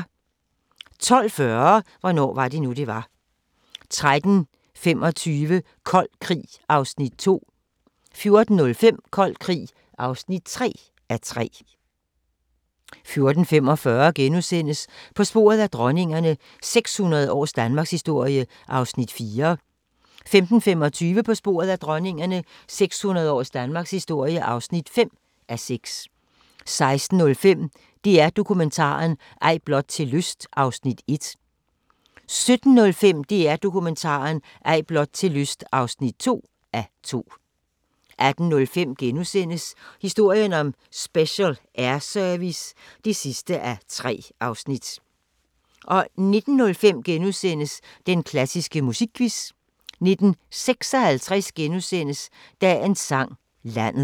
12:40: Hvornår var det nu, det var? 13:25: Kold Krig (2:3) 14:05: Kold Krig (3:3) 14:45: På sporet af dronningerne – 600 års Danmarkshistorie (4:6)* 15:25: På sporet af dronningerne – 600 års danmarkshistorie (5:6) 16:05: DR Dokumentaren – Ej blot til lyst (1:2) 17:05: DR Dokumentaren – Ej blot til lyst (2:2) 18:05: Historien om Special Air Service (3:3)* 19:05: Den klassiske musikquiz * 19:56: Dagens Sang: Landet *